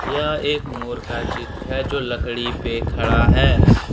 यह एक मोर का चित्र है जो लकड़ी पे खड़ा है ।